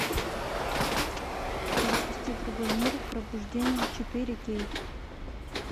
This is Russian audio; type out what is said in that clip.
запусти другой мир пробуждение четыре кей